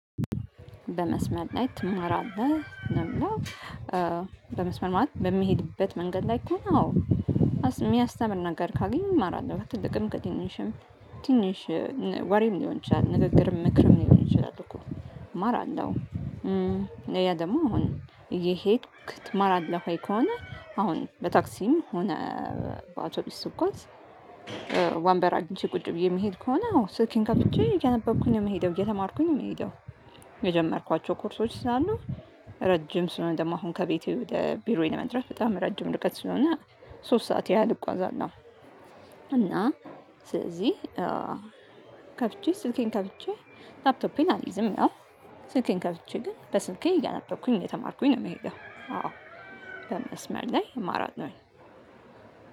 በመስመር ላይ ትማራለህ ለሚለው? በመስመር ማለት በሚሄድበት መንገድ ላይ ከሆነ አዎ። የሚያስተምር ነገር ካገኘው እማራለሁ ከትልቅም ከትንሽም። ትንሽ ወሬም ሊሆን ይችላል ንግግርም ምክርም ሊሆን ይችላል እኮ እማራለሁ። ያ ደግሞ አሁን እየሄድክ ትማራለህ ወይ ከሆነ? አሁን በታክሲም ሆነ በአውቶቢስ ስጕዝ። ወንበር አግኝቼ ቁጭ ብዬ የምሄድ ከሆነ አዎ ስልኬን ከፍቼ እያነበብኩኝ ነው የምሄደው እየተማርኩኝ ነው የምሄደው። የጀመርኳቸው ኮርሶች ስላሉ። ረጅም ስለሆነ ደግሞ አሁን ከቤቴ ወደ ቢሮዬ ለመድረስ በጣም ረጅም ርቀት ስለሆነ። ሶስት ሰዓት ያህል እጕዛለው። እና ስለዚህ ከፍቼ ስልኬን ከፍቼ ላፕቶፔን አልይዝም። ያው ስልኬን ከፍቼ ግን በስልኬ እያነበብኩኝ ነው የተማርኩኝ ነው የምሄደው። አዎ። በመስመር ላይ እማራለሁ።